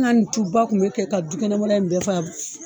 An ka nin tuba kun bɛ kɛ ka du kɛnɛmana in bɛɛ